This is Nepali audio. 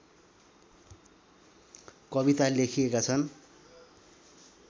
कविता लेखिएका छन्